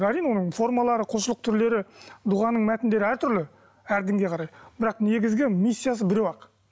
әрине оның формалары құлшылық түрлері дұғаның мәтіндері әртүрлі әр дінге қарай бірақ негізгі миссиясы біреу ақ